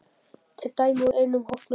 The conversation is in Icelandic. Þetta er dæmi úr einum hópnum